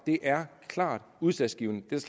er klart udslagsgivende det